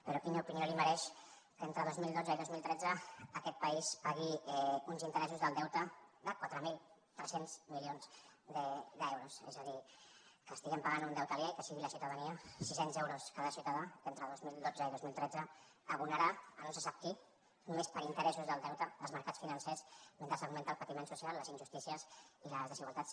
però quina opinió li mereix que entre dos mil dotze i dos mil tretze aquest país pagui uns interessos del deute de quatre mil tres cents milions d’euros és a dir que paguem un deute aliè i que sigui la ciutadania sis cents euros cada ciutadà entre dos mil dotze i dos mil tretze la que l’abonarà a no se sap qui només per interessos del deute als mercats financers mentre augmenten el patiment social les injustícies i les desigualtats